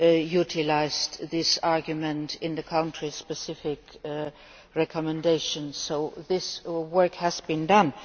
utilised this argument in the country specific recommendations, so this work has been done.